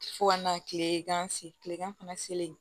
Fo ka na kile gan se kilegan fana selen